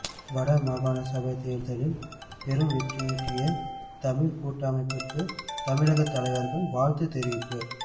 வடமாகாண சபைத் தேர்தலில் பெருவெற்றியீட்டிய தமிழ் கூட்டமைப்புக்கு தமிழகத் தலைவர்கள் வாழ்த்து தெரிவிப்பு